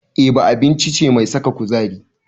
Eba abinci ce mai saka kuzari.